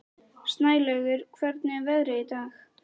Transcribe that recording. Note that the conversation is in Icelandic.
Snælaugur, hvernig er veðrið í dag?